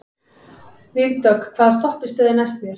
Vígdögg, hvaða stoppistöð er næst mér?